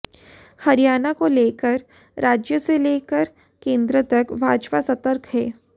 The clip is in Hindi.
हरियाणा को लेकर राज्य से लेकर केंद्र तक भाजपा सतर्क है